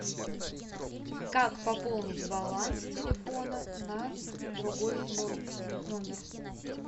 как пополнить баланс телефона на другой номер